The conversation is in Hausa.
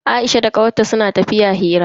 Aisha da kawar ta suna tafiya suna hira.